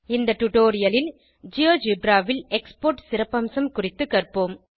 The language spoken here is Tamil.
இந்த டுடோரியலில் ஜியோஜெப்ரா ல் எக்ஸ்போர்ட் சிறப்பம்சம் குறித்து கற்போம்